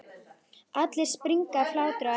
Allir springa af hlátri á eftir.